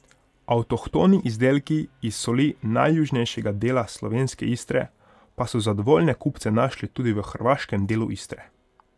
Avtohtoni izdelki iz soli najjužnejšega dela slovenske Istre pa so zadovoljne kupce našli tudi v hrvaškem delu Istre.